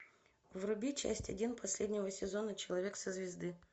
вруби часть один последнего сезона человек со звезды